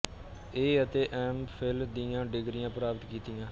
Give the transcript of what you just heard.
ਏ ਅਤੇ M Phil ਦੀਆਂ ਡਿਗਰੀਆਂ ਪ੍ਰਾਪਤ ਕੀਤੀਆਂ